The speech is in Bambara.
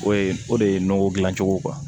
O ye o de ye nɔgɔ dilan cogo